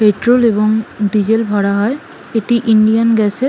petrol এবং diesel ভরা হয় এটি ইন্ডিয়ান গ্যাস -এর--